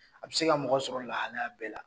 A bɛ se ka mɔgɔ sɔrɔ lahalaya bɛɛ la.